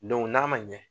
n'a ma ɲɛ